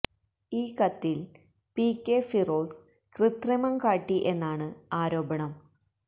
ഈ കത്തില് P K Firoz കൃത്രിമം കാട്ടി എന്നാണ് ആരോപണം